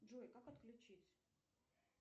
джой как отключить